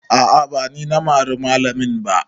A'a ba ni na mari malamin ba